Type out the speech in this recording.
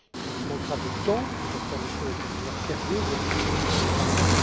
Il nous manquera du temps pour faire les choses de manière sérieuse, objective et transparente.